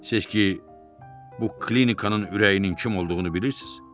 Seçki, bu klinikanın ürəyinin kim olduğunu bilirsiz?